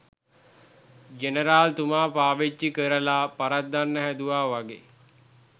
general තුමා පාවිච්චි කරලා පරද්දන්න හැදුවා වගෙ